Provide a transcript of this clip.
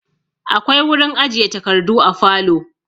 Akwai wurin ajiye takardu a falo.